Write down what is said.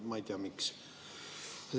Ma ei tea, miks.